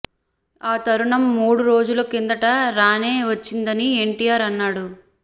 ఆ తరుణం మూడు రోజుల కిందట రానే వచ్చిందని ఎన్టీఆర్ అన్నాడు